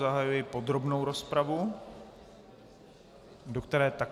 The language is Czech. Zahajuji podrobnou rozpravu, do které také...